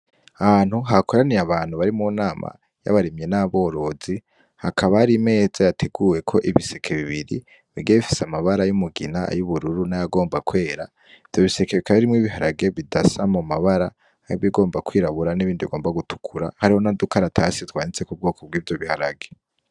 Hantu hakoraniye abantu bari mu nama yabaremye n'aborozi hakaba ari meza yateguwe ko ibiseke bibiri bigefise amabara y'umugina ay'ubururu n'ayagomba kwera vyo biseke bikabairimwo ibiharage bidasa mu mabara yabigomba kwirabura n'ibindi bigomba gutukura hariho na duka aratasitwanitse ku bwoko bw'ivyo biharage.